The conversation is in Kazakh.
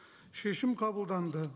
шешім қабылданды